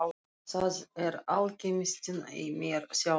Það er alkemistinn í mér sjáðu til.